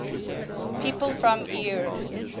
people from eure